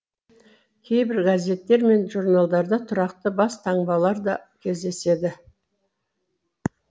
кейбір газеттер мен журналдарда тұрақты бас таңбалар да кездеседі